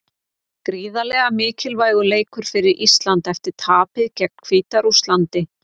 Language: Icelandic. Gríðarlega mikilvægur leikur fyrir Ísland eftir tapið gegn Hvíta-Rússlandi.